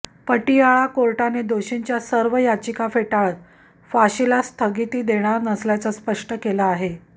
पतियाळा कोर्टाने दोषींच्या सर्व याचिका फेटाळत फाशीला स्थगिती देणार नसल्याचं स्पष्ट केलं आहे